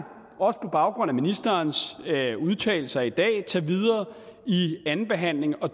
også på baggrund af ministerens udtalelser i dag tage videre i andenbehandlingen og